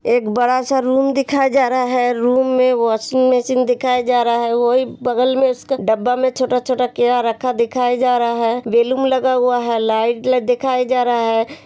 एक बड़ा सा रूम दिखाया जा रहा है रूम में वॉशिंग मशीन दिखाया जा रहा है वो ही बगल में इसका डब्बा में छोटा-छोटा क्या रखा दिखाया जा रहा है बलून लगा हुआ है लाइट दिखाया जा रहा है।